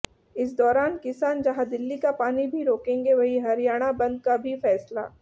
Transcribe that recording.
इस दौरान किसान जहां दिल्ली का पानी भी रोकेंगे वहीं हरियाणा बंद का भी फैसला